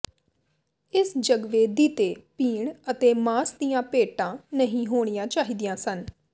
ਇਸ ਜਗਵੇਦੀ ਤੇ ਪੀਣ ਅਤੇ ਮਾਸ ਦੀਆਂ ਭੇਟਾਂ ਨਹੀਂ ਹੋਣੀਆਂ ਚਾਹੀਦੀਆਂ ਸਨ